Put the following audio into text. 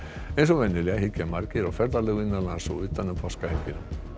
eins og venjulega hyggja margir á ferðalög innan lands eða utan um páskahelgina